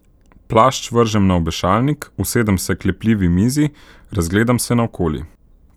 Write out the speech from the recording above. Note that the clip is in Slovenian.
Plašč vržem na obešalnik, usedem se k lepljivi mizi, razgledam se naokoli.